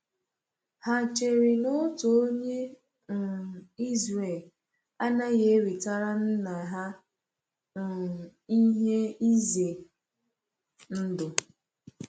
Ha chere na otu onye um Israel anaghị ewetara nna ha um ihe ize ndụ?